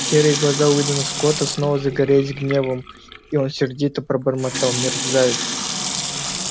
серые глаза уидона скотта снова загорелись гневом и он сердито пробормотал мерзавец